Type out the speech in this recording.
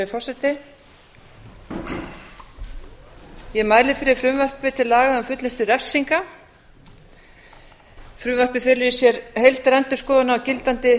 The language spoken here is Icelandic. virðulegi forseti ég mæli fyrir frumvarpi til laga um fullnustu refsinga frumvarpið felur í sér heildarendurskoðun á gildandi